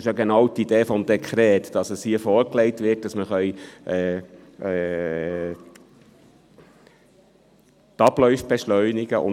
Denn es ist ja genau die Idee des Dekrets, dass es hier vorgelegt wird, dass wir die Abläufe beschleunigen können.